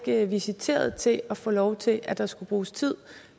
ikke visiteret til at få lov til at der skulle bruges tid